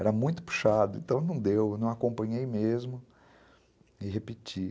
Era muito puxado, então não deu, eu não acompanhei mesmo e repeti.